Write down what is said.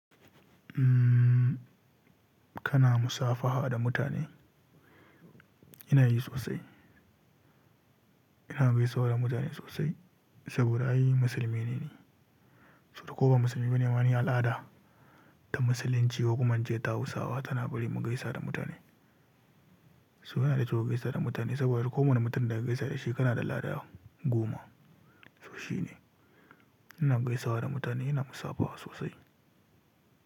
Kana musafaha da mutane? Ina yi sosai. Ina gaisuwa da mutane sosai saboda ai musulmi ne ni. Saboda ko ba musulmi bane ni al'ada ta musulunci ko kuma ince ta Hausawa tana bari mu gaisa da mutane. So yana da kyau ka gaisa da mutane saboda duk ko wani mutum da ka gaisa da shi kana lada goma. So shi ne. Ina gaisawa da mutane, ina musafaha sosai.